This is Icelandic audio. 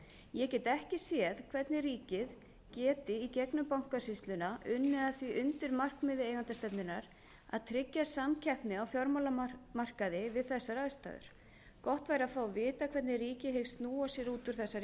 ég get ekki séð hvernig ríkið geti í gegnum bankasýsluna unnið að því undirmarkmiði eigendastefnunnar að tryggja samkeppni á fjármálamarkaði við þessar aðstæður gott væri að fá að vita hvernig ríkið hyggst snúa sér út úr þessari